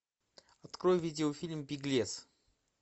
открой видеофильм беглец